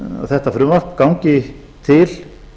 þetta frumvarp gangi til